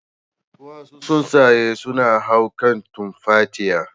Wasu tsuntsaye sunan hau kan tumfatiya.